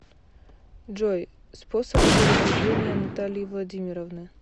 джой способ передвижения натальи владимировны